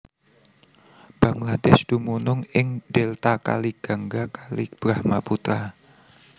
Bangladesh dumunung ing Delta Kali Gangga Kali Brahmaputra